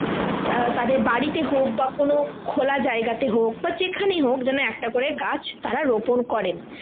আহ তাদের বাড়িতে হোক বা কোনো খোলা জায়গাতে হোক বা যেখানেই হোক যেন একটা করে গাছ তারা রোপন করেন